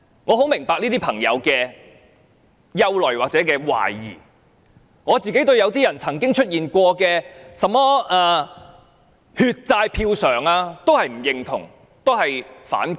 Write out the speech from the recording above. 我很明白這些朋友的憂慮或懷疑，我本人曾經對"血債票償"並不認同及反感。